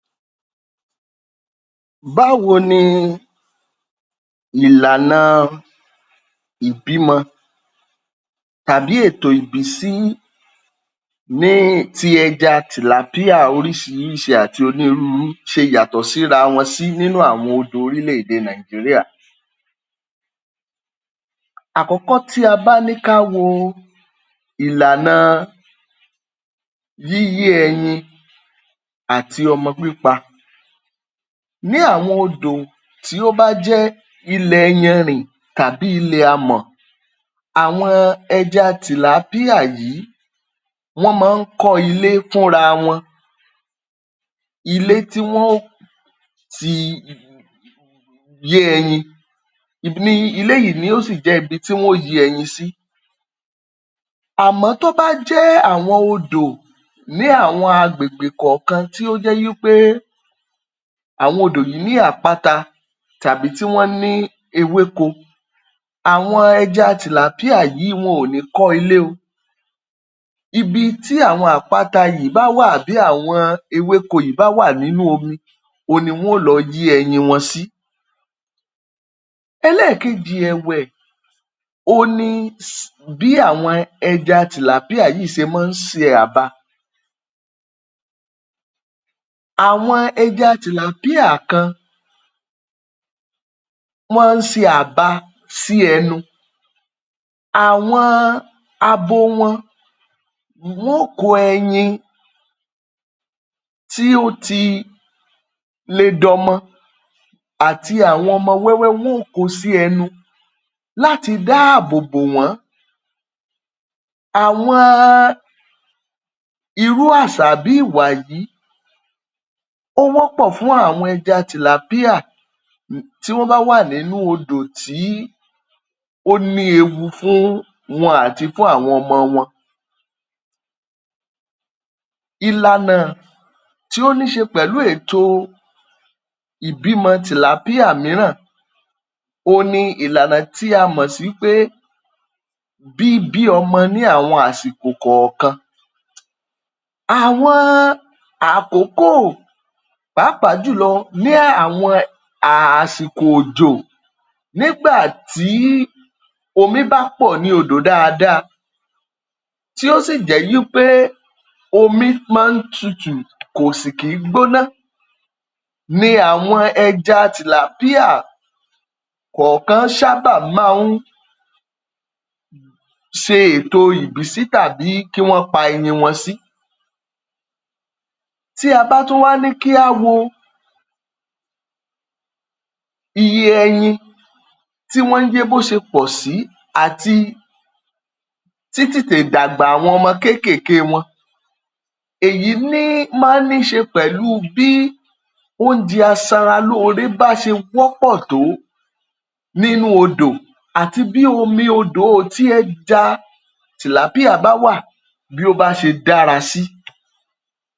Báwo ni ìlànà ìbímọ tàbí ètò ìbísí ní ti ẹja tilapia oríṣiríṣi àti onírúurú ṣe yàtọ̀ síra wọn sí nínú àwọn odò orílẹ̀-èdè Nàìjíría. Àkọ́kọ́, tí a bá ní ká wo ìlànà yíyé ẹyin àti ọmọ pípa ní àwọn odò tí ó bá jẹ́ ilẹ̀ iyanrìn tàbí ilẹ̀ amọ̀. Àwọn ẹja tilapia yìí, wọ́n máa ń kọ́ ilé fúnra wọn. Ilé tí wọn o ti lé ẹyin. Ilé yìí ni yóò sì jẹ́ ibi tí wọn ó yé ẹyin sí. Àmọ́ tó bá jẹ́ àwọn odò ní àwọn agbègbè kọ̀ọ̀kan tó jẹ́ wí pé àwọn odò yìí ní àpáta tàbí tí wọ́n ní ewéko, àwọn ẹja tilapia yìí wọn ò ní kọ́ ilé o. Ibi tí àwọn àpáta yìí bá wà àbí àwọn ewéko yìí bá wà nínú omi, òhun ni wọn yóò lọ yé ẹyin wọn sí. Ẹlẹ́ẹ̀kejì ẹ̀wẹ̀, òhun ni bí àwọn ẹja tilapia yìí ṣe máa ń se àba. Àwọn ẹja tilapia kan, wọ́n ń se àba sí ẹnu. Àwọn abo wọn, wọn óò kó ẹyin tí ó ti le dọmọ àti awọn ọmọ wẹ́wẹ́, wọn ó ko sí ẹnu láti dáàbò bò wọ́n. Àwọn irú àsà bí ìwà yìí, ó wọ́pọ̀ fún àwọn ẹja tilapia, tí wọ́n bá wà nínú odò tí ó ní ewu fún wọn àti fún àwọn ọmọ wọn. Ìlànà tí ó ní í ṣe pẹ̀lú ètò ìbímọ tilapia mìíràn òhun ni ìlànà tí a mọ̀ sí pé bíbí ọmọ ní àwọn àsìkò kọ̀ọ̀kan, àwọn àkókò, pàápàá jùlọ ní àwọn àsìkò òjò nígbà tí omi bá pọ̀ ní odò dáadaa tí ó sì jẹ́ wí pé omi máa ń tutù kò sì kì ń gbóná ni àwọn ẹja tilapia kọ̀ọ̀kan ṣábà máa ń ṣe ètò ìbísí tàbí kí wọ́n pa ẹyin wọn sí. Tí a bá tún wá ní kí a wo iye ẹyin tí wọ́n yé bó ṣe pọ̀ sí àti títètè dàgbà àwọn ọmọ kéékèèké wọn, èyí ní máa ní í ṣe pẹ̀lú bíi oúnjẹ aṣaralóore bá ṣe wọ́pọ̀ tó nínú odò àti bí omi odò tí ẹja tilapia bá wà, bó bá ṣe dára sí.